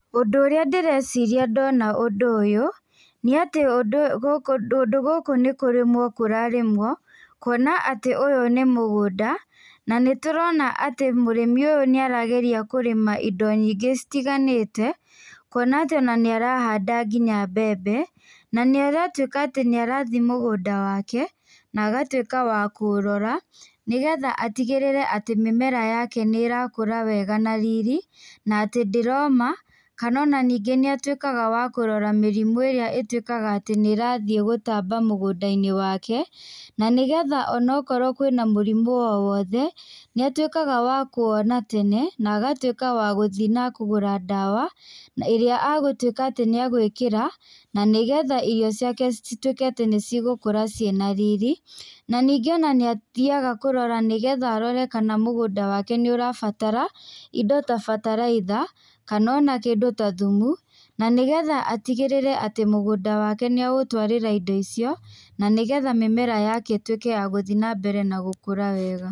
Ũndũ ũrĩa ndĩreciria ndona ũndũ ũyũ, nĩ atĩ kũndũ gũkũ nĩ kũrĩmwo kũrarĩmwo, kuona atĩ ũyũ nĩ mũgũnda na nĩtũrona atĩ mũrĩmi ũyũ nĩ arageria kũrĩma indo nyingĩ citiganĩte kũona atĩ nĩarahanda nginya mbembe na nĩaratuĩka atĩ nĩarathi mũgũnda wake na agatuĩka wa kũũrora nĩgetha atigĩrĩre atĩ mĩmera yake nĩĩrakũra na riri na atĩ ndĩroma kana ona ningĩ nĩ atuĩkaga wa kũrora mĩrimũ ĩrĩa ĩtuĩkaga atĩ nĩ ĩrathiĩ gũtamba mũgũnda-inĩ wake na nĩgetha ona akorwo kwĩna mũrimũ o wothe, nĩ atuĩkaga wa kũwona tene na agatuĩka wa gũthi na kũgũra ndawa ĩrĩa agũtuĩka atĩ nĩ egwĩkĩra na nĩgetha irio ciake cituĩke atĩ nĩcigũkũra ciĩna riri, na ningĩ ona nĩathiaga kũrora na nĩgetha arore mũgũnda wake kana nĩ ũrabatara indo ta bataraitha kana ona kĩndũ ta thumu na nĩgetha atigĩrĩre atĩ mũgũnda wake nĩ aũtwarĩra indo icio, na nĩgetha mĩmera yake ĩthĩ nambere na gũkũra wega.